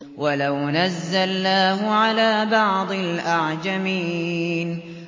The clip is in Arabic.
وَلَوْ نَزَّلْنَاهُ عَلَىٰ بَعْضِ الْأَعْجَمِينَ